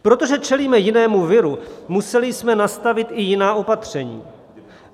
Protože čelíme jinému viru, museli jsme nastavit i jiná opatření.